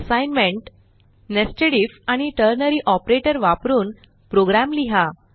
assignment nested IF आणि ternary operator वापरून program लिहा